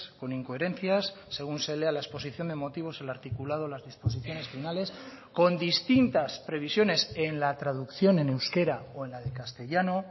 con incoherencias según se lea la exposición de motivos el articulado las disposiciones finales con distintas previsiones en la traducción en euskera o en la de castellano